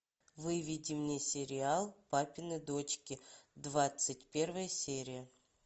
выведи мне сериал папины дочки двадцать первая серия